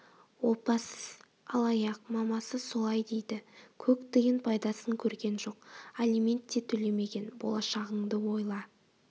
опасыз алаяқ мамасы солай дейді көк тиын пайдасын көрген жоқ алимент те төлемеген болашағыңды ойла